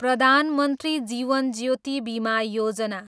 Pradhan Mantri Jeevan Jyoti Bima Yojana